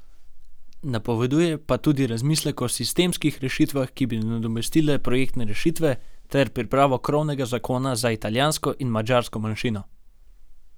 Napoveduje pa tudi razmislek o sistemskih rešitvah, ki bi nadomestile projektne rešitve, ter pripravo krovnega zakona za italijansko in madžarsko manjšino.